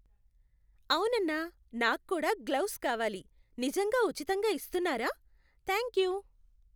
అవునన్నా, నాక్కూడా గ్లవ్స్ కావాలి. నిజంగా ఉచితంగా ఇస్తున్నారా? థాంక్యూ.